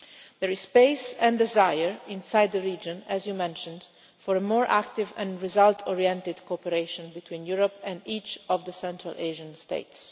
There is space and desire inside the region, as you mentioned, for a more active and result oriented cooperation between Europe and each of the Central Asian states.